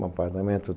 Um apartamento.